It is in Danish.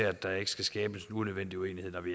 at der ikke skal skabes en unødvendig uenighed når vi